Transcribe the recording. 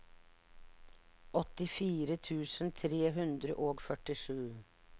åttifire tusen tre hundre og førtisju